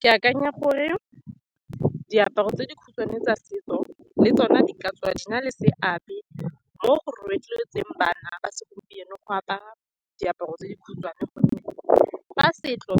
Ke akanya gore diaparo tse di khutshwane tsa setso le tsone di ka tswa di na le seabe mo go rotloetseng bana ba segompieno go apara diaparo tse di khutshwane, ka gonne fa setso